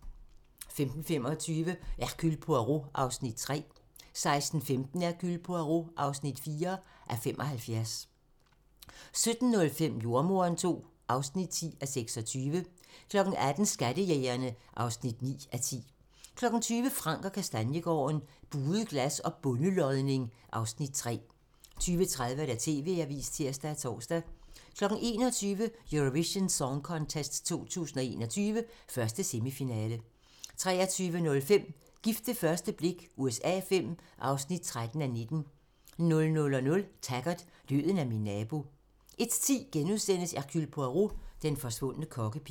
15:25: Hercule Poirot (3:75) 16:15: Hercule Poirot (4:75) 17:05: Jordemoderen II (10:26) 18:00: Skattejægerne (9:10) 20:00: Frank & Kastaniegaarden - Buet glas og bondelodning (Afs. 3) 20:30: TV-avisen (tir og tor) 21:00: Eurovision Song Contest 2021, 1. semifinale 23:05: Gift ved første blik USA V (13:19) 00:00: Taggart: Døden er min nabo 01:10: Hercule Poirot: Den forsvundne kokkepige *